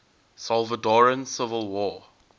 salvadoran civil war